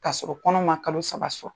Ka sɔrɔ kɔnɔ ma kalo saba sɔn.